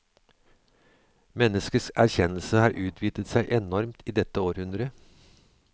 Menneskets erkjennelse har utvidet seg enormt i dette århundret.